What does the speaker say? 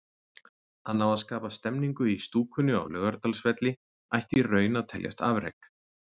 Að ná að skapa stemningu í stúkunni á Laugardalsvelli ætti í raun að teljast afrek.